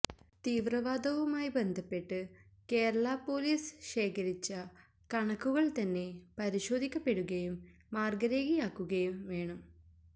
തീവ്രവദാവുമായി ബന്ധപ്പെട്ട് കേരള പൊലിസ് ശേഖരിച്ച കണക്കുകള് തന്നെ പരിശോധിക്കപ്പെടുകയും മാര്ഗരേഖയാക്കുകയും വേണം